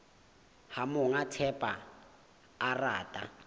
ha monga thepa a rata